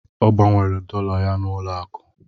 Ọ gbanwere dọla ya n'ụlọ akụ.